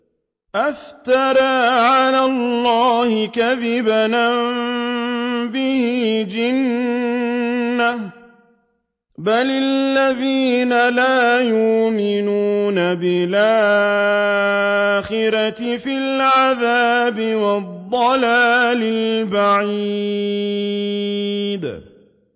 أَفْتَرَىٰ عَلَى اللَّهِ كَذِبًا أَم بِهِ جِنَّةٌ ۗ بَلِ الَّذِينَ لَا يُؤْمِنُونَ بِالْآخِرَةِ فِي الْعَذَابِ وَالضَّلَالِ الْبَعِيدِ